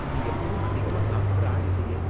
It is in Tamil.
நீ எப்பவும் அதிகமா சாப்பிடுற ஆள் இல்லயே?